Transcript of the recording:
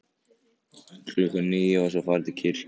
Klukkan níu var svo farið til kirkju.